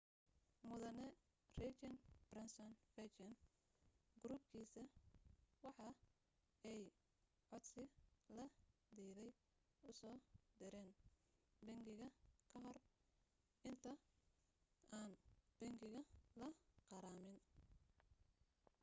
mudane richard branson virgin group-kiisa waxa ay codsi la diiday usoo direyn bangiga kahor inta aan bangiga la qarameyn